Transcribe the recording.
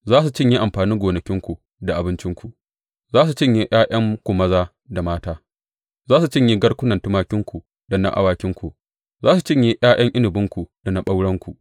Za su cinye amfanin gonakinku da abincinku, za su cinye ’ya’yanku maza da mata; za su cinye garkunan tumakinku da na awakinku, za su cinye ’ya’yan inabinku da na ɓaurenku.